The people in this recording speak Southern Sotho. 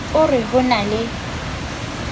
o re ho na le